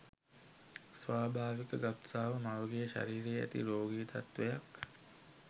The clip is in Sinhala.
ස්වාභාවික ගබ්සාව මවගේ ශරීරයේ ඇති රෝගී තත්ත්වයක්